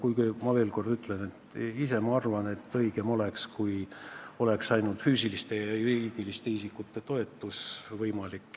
Aga ma veel kord ütlen, et minu arvates oleks õigem, kui oleks ainult füüsiliste ja juriidiliste isikute toetus võimalik.